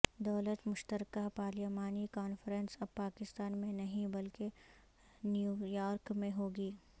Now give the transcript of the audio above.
دولت مشترکہ پارلیمانی کانفرنس اب پاکستان میں نہیں بلکہ نیویارک میں ہوگی